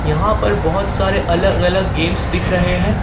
यहां पर बहोत सारे अलग अलग गेम्स दिख रहे हैं।